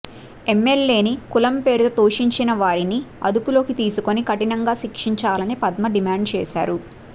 ఎమ్మెల్యేని కులం పేరుతో దూషించిన వారిని అదుపులోకి తీసుకొని కఠినంగా శిక్షించాలని పద్మ డిమాండ్ చేశారు